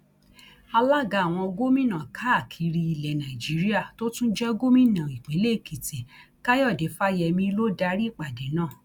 alága àwọn gómìnà káàkiri ilẹ nàíjíríà tó tún jẹ gómìnà ìpínlẹ èkìtì káyọdé fáyemí ló darí ìpàdé náà